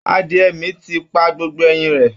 Adiẹ̀ mi ti pa gbogbo ẹyin rẹ̀